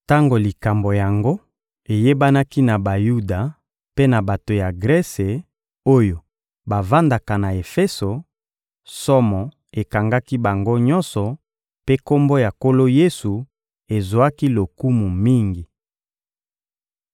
Tango likambo yango eyebanaki na Bayuda mpe na bato ya Grese oyo bavandaka na Efeso, somo ekangaki bango nyonso, mpe Kombo ya Nkolo Yesu ezwaki lokumu mingi.